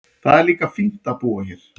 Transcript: Það er líka fínt að búa hér.